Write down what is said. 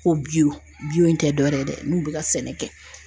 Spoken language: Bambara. Ko biyo biyo tɛ dɔwɛrɛ ye dɛ n'u be ka sɛnɛ kɛ